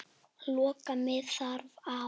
Loka mig þar af.